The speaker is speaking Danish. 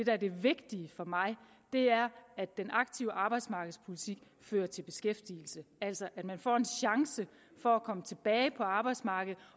er det vigtige for mig er at den aktive arbejdsmarkedspolitik fører til beskæftigelse altså at man får en chance for at komme tilbage på arbejdsmarkedet